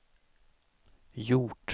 gjort